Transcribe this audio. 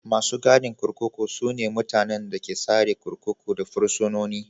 Masu gadin kurkuku su ne mutanen da ke tsare kurkuku da fursunoni.